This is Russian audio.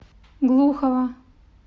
глухова